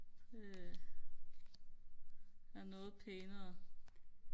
det er noget pænere